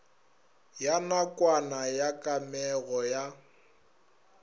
ya nakwana ya kamego ya